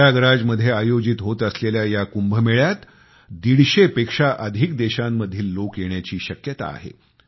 प्रयागराज मध्ये आयोजित होत असलेल्या या कुंभमेळ्यात 150 पेक्षा अधिक देशांमधील लोक येण्याची शक्यता आहे